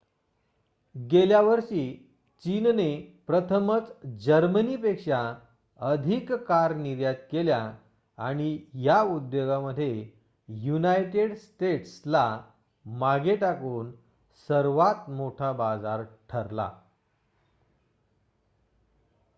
गेल्या वर्षी चीनने प्रथमच जर्मनी पेक्षा अधिक कार निर्यात केल्या आणि या उद्योगामध्ये युनायटेड स्टेट्स ला मागे टाकून सर्वात मोठा बाजार ठरला